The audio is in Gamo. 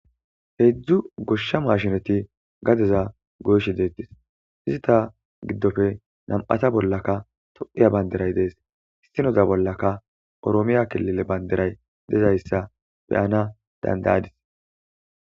heejzdzu goshsha maashinati gadeza goyshe deettis izi ta giddofe nam7ata bollaka to7iya baynderay dees isinoza bollaka oroomiya kelile baynderay dezayssa beyana dandayadis